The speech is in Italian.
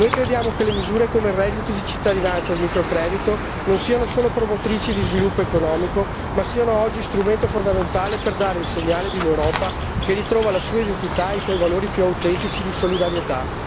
Noi crediamo che misure come il reddito di cittadinanza ed il microcredito non siano solo promotrici di sviluppo economico, ma siano oggi strumento fondamentale per dare il segnale di un'Europa che ritrova la sua identità e i suoi valori più autentici di solidarietà.